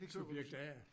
Subjekt a